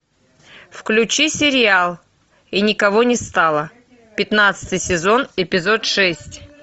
включи сериал и никого не стало пятнадцатый сезон эпизод шесть